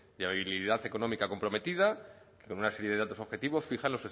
labilidad económica comprometida con una serie de datos objetivos fijan